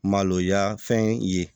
Maloya fɛn ye